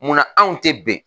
Munna anw tɛ bɛn